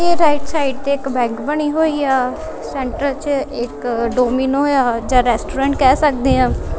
Right side ਤੇ ਇਕ ਬੈਕ ਬਣੀ ਹੋਈ ਆ ਸੈਂਟਰ ਚ ਇੱਕ ਡੋਮੀਨ ਹੋਇਆ ਜਾਂ ਰੈਸਟੋਰੈਂਟ ਕਹਿ ਸਕਦੇ ਆਂ।